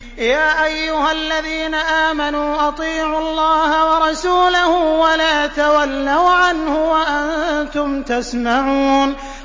يَا أَيُّهَا الَّذِينَ آمَنُوا أَطِيعُوا اللَّهَ وَرَسُولَهُ وَلَا تَوَلَّوْا عَنْهُ وَأَنتُمْ تَسْمَعُونَ